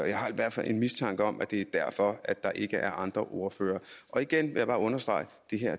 jeg har i hvert fald en mistanke om at det er derfor der ikke er andre ordførere og igen vil jeg bare understrege